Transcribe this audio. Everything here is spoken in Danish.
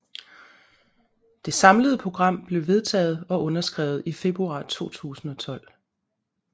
Det samlede program blev vedtaget og underskrevet i februar 2012